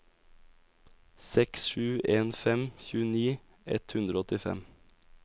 seks sju en fem tjueni ett hundre og åttifem